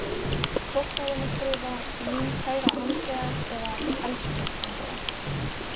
Hvort á hann að skrifa, mín kæra Andrea eða elsku Andrea?